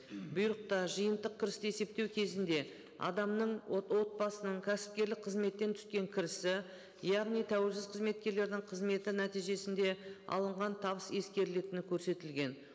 бұйрықта жиынтық кірісті есептеу кезінде адамның отбасының кәсіпкерлік қызметтен түскен кірісі яғни тәуелсіз қызметкерлердің қызметі нәтижесінде алынған табыс ескерілетіні көрсетілген